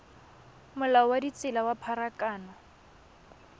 molao wa ditsela wa pharakano